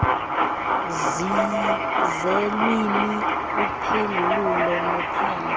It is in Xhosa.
zeelwimi uphengululo nophando